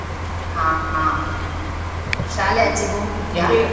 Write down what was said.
ಹಾ ಅಹ್ ಶಾಲೆ ಆಚೆ ಹೋಗಿದ್ಯಾ?